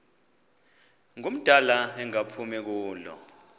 ngumdala engaphumi kulo